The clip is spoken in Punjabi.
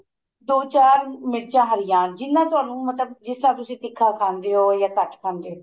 ਦੋ ਚਾਰ ਮੀਰਚਾ ਹਰੀਆਂ ਜਿੰਨਾ ਤੁਹਾਨੂੰ ਮਤਲਬ ਜਿਸ ਤਰ੍ਹਾਂ ਤੁਸੀਂ ਤਿੱਖਾ ਖਾਂਦੇ ਓ ਜਾ ਘੱਟ ਖਾਂਦੇ ਓ